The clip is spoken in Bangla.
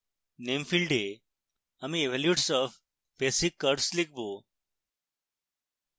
name ফীল্ডে আমি evolutes of basic curves লিখব